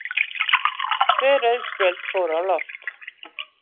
Tvö rauð spjöld fóru á loft.